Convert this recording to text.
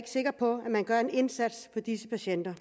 sikker på at man gør en indsats for disse patienter